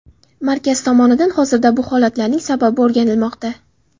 Markaz tomonidan hozirda bu holatlarning sababi o‘rganilmoqda.